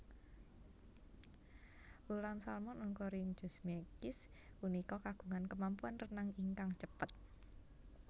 Ulam Salmon oncorhynchus mykiss punika kagungan kemampuan renang ingkang cepet